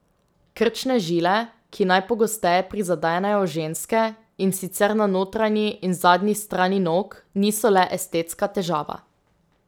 Krčne žile, ki najpogosteje prizadenejo ženske, in sicer na notranji in zadnji strani nog, niso le estetska težava.